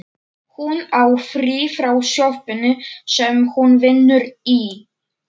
Hún á frí frá sjoppunni sem hún vinnur í.